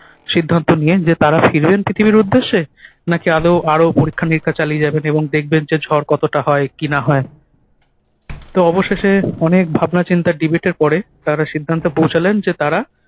সিদ্ধান্ত নিলেন যে তারা ফিরবেন পৃথিবীর উদ্দেশ্যে, না-কি আদৌ আরও পরীক্ষা-নিরীক্ষা চালিয়ে যাবেন এবং দেখবেন যে ঝড় কতটা হয় কি-না হয়। তো অবশেষে অনেক ভাবনাচিন্তা debate এর পরে তারা সিদ্ধান্তে পৌঁছালেন যে তারা